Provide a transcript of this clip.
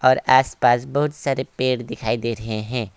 और आसपास बहुत सारे पेड़ दिखाई दे रहे हैं।